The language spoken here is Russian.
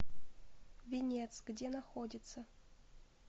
венец где находится